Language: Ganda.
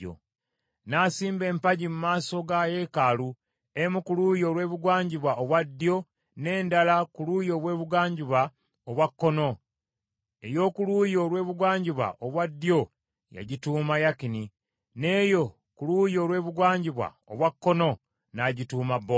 N’asimba empagi mu maaso ga yeekaalu, emu ku luuyi olw’ebugwanjuba obwa ddyo, n’endala ku luuyi olw’ebugwanjuba obwa kkono. Ey’oku luuyi olw’ebugwanjuba obwa ddyo yagituuma Yakini , n’eyo ku luuyi olw’ebugwanjuba obwa kkono n’agituuma Bowaazi .